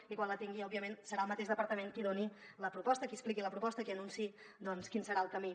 i quan la tingui òbviament serà el mateix departament qui doni la proposta qui expliqui la proposta qui anunciï quin serà el camí